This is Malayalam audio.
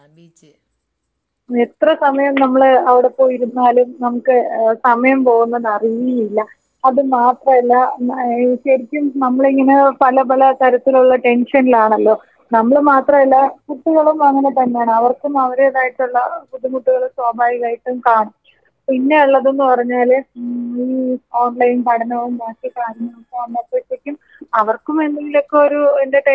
എത്ര സമയം നമ്മള് അവിടെ പോയി ഇരുന്നാലും നമുക്ക് ഏ സമയം പോകുന്നത് അറിയേയില്ല അതുമാത്രല്ല ഏ നമ്മളിങ്ങനെ പല പല തരത്തിലുള്ള ടെൻഷനിലാണല്ലോ നമ്മള് മാത്രല്ല കുട്ടികളും അങ്ങനെ തന്നെയാണ് അവർക്കും ആരുടേതായിട്ടുള്ള ബുദ്ധിമുട്ടുകള് സ്വാഭാവികമായിട്ടും കാണും പിന്നെയുള്ളതെന്ന് പറഞ്ഞാല് ഈ ഓൺലൈൻ പഠനവും ബാക്കി കാര്യങ്ങളൊക്കെ ആവുമ്പഴത്തേക്കും അവർക്കും എന്തെങ്കിലുമൊക്കൊരു എന്റർടൈൻമെന്റ് വേണല്ലോടാ.